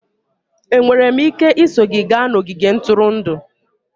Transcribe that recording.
Enwere m ike iso gị gaa n'ogige ntụrụndụ?